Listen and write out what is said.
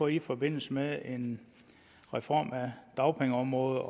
i forbindelse med en reform af dagpengeområdet